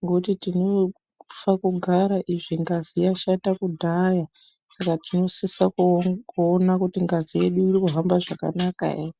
ngekuti tinofa kugara izvo ngazi yashata kudhaya saka tinosisa kuo kuona kuti ngazi yedu iri kuhamba zvakanaka ere.